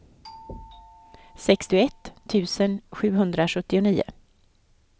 sextioett tusen sjuhundrasjuttionio